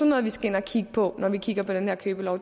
noget vi skal ind at kigge på når vi kigger på den her købelov